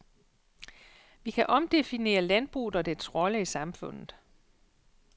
Vi kan omdefinere landbruget og dets rolle i samfundet.